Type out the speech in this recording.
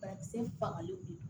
Banakisɛ fangaw de don